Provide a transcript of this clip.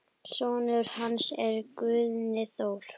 Sonur hans er Guðni Þór.